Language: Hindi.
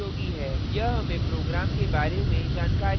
यह हमें program के बारे में जानकारी देता है